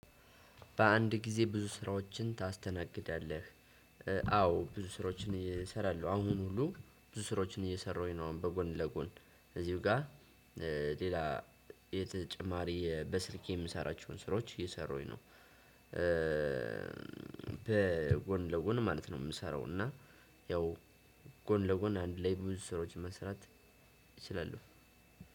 በአንድ ጊዜ ብዙ ስራዎችን ታስተናግዳለህ? አዎ ብዙ ስራዎችን እሰራለሁ አሁን ሁሉ ብዙ ስራዎችን እየሰራሁኝ ነው። አሁን በጎን ለጎን እዚሁ ጋር። ሌላ የተጨማሪ በስልኬ የምሰራቸውን ስራዎች እየሰራውኝ ነው። ጎን ለጎን ማለት ነው የምሰራው። እና ያው ጎን ለጎን አንድ ላይ ብዙ ስራዎች መስራት ይችላሉ።